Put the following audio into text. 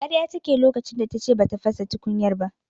Karya take yi lokacin da tace bata fasa tukunyar ba.